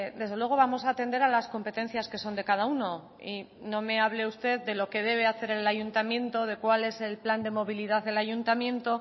desde luego vamos a atender a las competencias que son de cada uno y no me hable usted de lo que debe hacer el ayuntamiento de cuál es el plan de movilidad del ayuntamiento